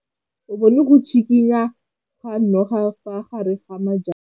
O bone go tshikinya ga noga ka fa gare ga majang.